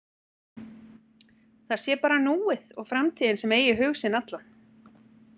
Það sé bara núið og framtíðin sem eigi hug sinn allan.